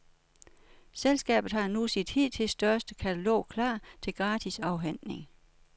Selskabet har nu sit hidtil største katalog klar til gratis afhentning.